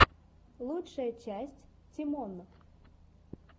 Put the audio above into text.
лучшая часть тимон